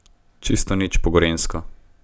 Čisto nič po gorenjsko!